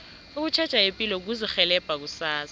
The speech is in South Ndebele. ukutjheja ipilo kuzirhelebha kusasa